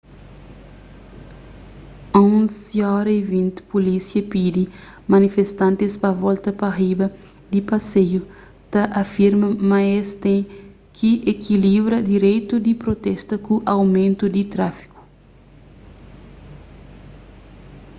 11:20 pulísia pidi manifestantis pa volta pa riba di paseiu ta afirma ma es ten ki ekilibra direitu di protesta ku aumentu di tráfiku